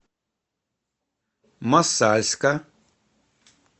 мосальска